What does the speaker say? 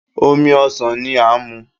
Omi ọsan ni a n mu